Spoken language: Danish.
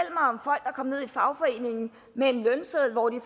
kommet ned i fagforeningen med en lønseddel hvor de